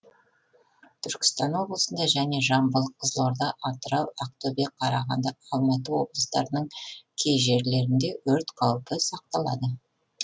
түркістан облысында және жамбыл қызылорда атырау ақтөбе қарағанды алматы облыстарының кей жерлерінде өрт қаупі сақталады